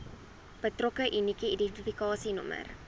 betrokke unieke identifikasienommer